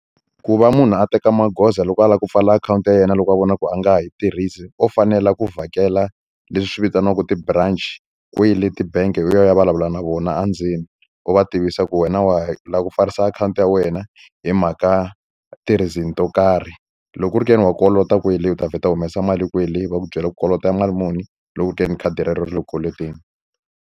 Ku va munhu a teka magoza loko a lava ku pfala akhawunti ya yena loko a vona ku a nga ha yi tirhisi u fanela ku vhakela leswi vitaniwaka ti-branch kwele ti-bank u ya u ya vulavula na vona endzeni u va tivisa ku wena wa la ku pfarisa akhawunti ya wena hi mhaka ti-reason to karhi loko u ri ke ni wa kolota kwele u ta vheta u humesa mali kwele va ku byela ku kolota mali muni loko ku ri ke ni khadi rero ri le ku koloteni.